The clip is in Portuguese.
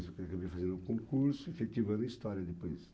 Acabei fazendo um concurso, efetivando história depois.